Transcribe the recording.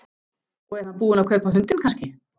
Og er hann búinn að kaupa hundinn kannski?